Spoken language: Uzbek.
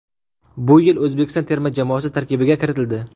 Bu yil O‘zbekiston terma jamoasi tarkibiga kiritildi.